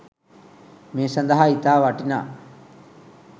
මේ සඳහා ඉතා වටිනා